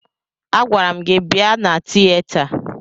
Agwara m gị bịa na tiyeta!